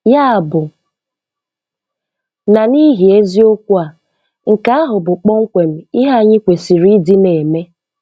Yabụ na n'ihi eziokwu a, nke ahụ bụ kpọmkwem ihe anyị kwesịrị ịdị na-eme.